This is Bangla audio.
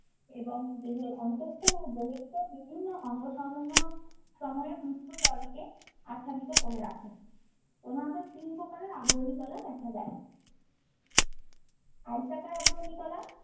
এবং দেহের অন্তঃস্থ ও বহিঃস্ত অঙ্গ সমূহ~ সমূহের মুক্ত তলকে আচ্ছাদিত করে রাখে। প্রধানত তিন প্রকারের আবরণী কলা দেখা যায়। আয়তাকার আবরণী কলা